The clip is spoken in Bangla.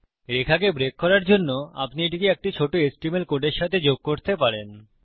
রেখাকে ব্রেক করার জন্য আপনি এটিকে একটি ছোট এচটিএমএল কোডের সাথে যোগ করতে পারেন